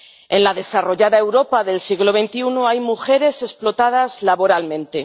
En la desarrollada Europa del siglo XXI hay mujeres explotadas laboralmente.